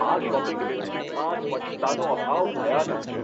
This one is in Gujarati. આ શોપિંગ ડિસ્ટ્રિક્ટમાં સ્વચ્છતાનો અભાવ ભયાનક છે.